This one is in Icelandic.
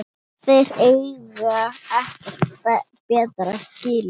Þeir eiga ekkert betra skilið